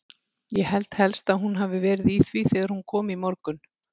Ég held helst að hún hafi verið í því þegar hún kom í morgun.